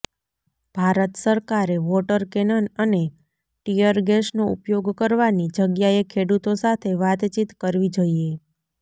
ભારત સરકારે water cannon અને tear ગેસનો ઉપયોગ કરવાની જગ્યાએ ખેડૂતો સાથે વાતચીત કરવી જોઇએ